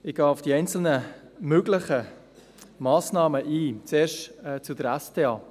Ich gehe auf die einzelnen Massnahmen ein, zuerst zur SDA.